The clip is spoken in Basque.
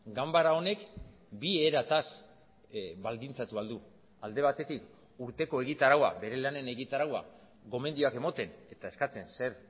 ganbara honek bi erataz baldintzatu ahal du alde batetik urteko egitaraua bere lanen egitaraua gomendioak ematen eta eskatzen zer